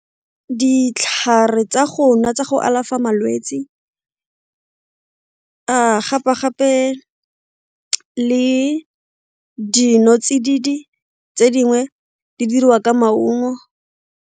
Ditlhare tsa go nwa tsa go alafa malwetsi a gape-gape le dinotsididi tse dingwe di dirwa ka maungo.